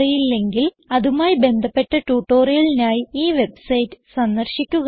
അറിയില്ലെങ്കിൽ അതുമായി ബന്ധപ്പെട്ട ട്യൂട്ടോറിയലിനായി ഈ വെബ്സൈറ്റ് സന്ദർശിക്കുക